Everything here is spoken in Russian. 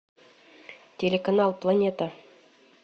телеканал планета